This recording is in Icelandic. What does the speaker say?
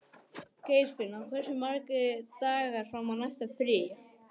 Geirfinna, hversu margir dagar fram að næsta fríi?